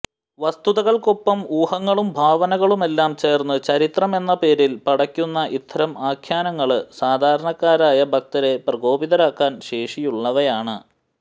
വസ്തുതകള്ക്കൊപ്പം ഊഹങ്ങളും ഭാവനകളുമെല്ലാം ചേർത്ത് ചരിത്രമെന്ന പേരിൽ പടയ്ക്കുന്ന ഇത്തരം ആഖ്യാനങ്ങള് സാധാരണക്കാരായ ഭക്തരെ പ്രകോപിതരാക്കാൻ ശേഷിയുള്ളവയാണ്